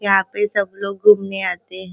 यहाँ पे सब लोग घुमने आते--